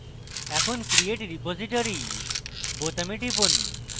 এখন create repository বোতামে টিপি